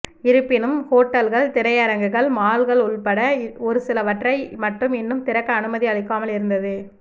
இருப்பினும் ஹோட்டல்கள் திரையரங்குகள் மால்கள் உள்பட ஒரு சிலவற்றை மட்டும் இன்னும் திறக்கஅனுமதி அளிக்காமல் இருந்தது